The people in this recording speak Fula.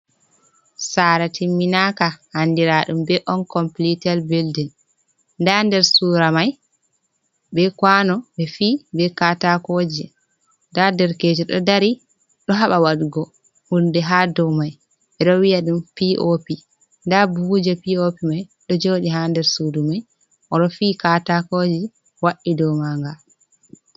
Saara timinaka andira ɗum be on kompilitet bildin, nda der sura mai be kwano ɓe fi be katakoji. Nda derkejo ɗo dari ɗo haɓa waɗugo hunde haa dow mai ɓe ɗo wiya ɗum pop, nda buhuje pop mai ɗo joɗi haa nder suudu mai, o ɗo fi katakoji waɗi dow maa nga.